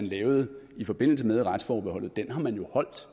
lavet i forbindelse med retsforbeholdet har man jo holdt